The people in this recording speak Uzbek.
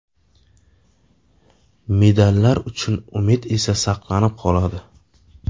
Medallar uchun umid esa saqlanib qoladi.